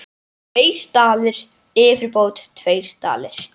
Tveir dalir yfirbót tveir dalir.